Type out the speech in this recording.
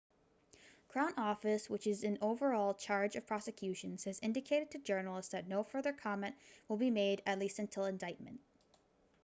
crown office which is in overall charge of prosecutions has indicated to journalists that no further comment will be made at least until indictment